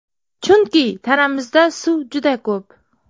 Chunki tanamizda suv juda ko‘p.